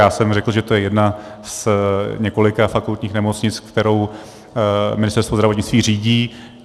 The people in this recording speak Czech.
Já jsem řekl, že to je jedna z několika fakultních nemocnic, kterou Ministerstvo zdravotnictví řídí.